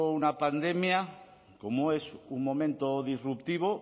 una pandemia como es un momento disruptivo